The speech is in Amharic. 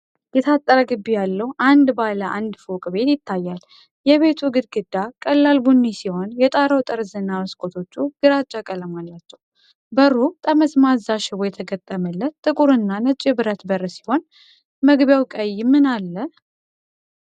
የታጠረ ግቢ ያለው አንድ ባለ አንድ ፎቅ ቤት ይታያል። የቤቱ ግድግዳ ቀላል ቡኒ ሲሆን፣ የጣራው ጠርዝና መስኮቶቹ ግራጫ ቀለም አላቸው። በሩ ጠመዝማዛ ሽቦ የተገጠመለት ጥቁር እና ነጭ የብረት በር ሲሆን፣ መግቢያው ቀይ ምን አለ?